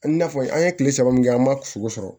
A n'a fɔ an ye tile saba min kɛ an ma sogo sɔrɔ